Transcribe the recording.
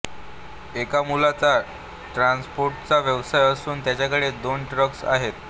एका मुलाचा ट्रान्सपोर्टचा व्यवसाय असून त्याच्याकडे दोन ट्रक्स आहेत